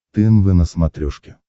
тнв на смотрешке